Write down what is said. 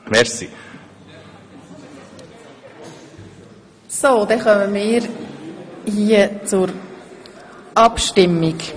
Gibt es seitens der Kommission noch eine Wortmeldung?